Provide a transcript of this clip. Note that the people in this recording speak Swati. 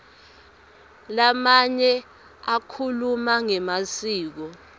lamanye akhuluma ngemasiko